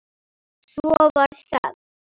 Svo varð þögn.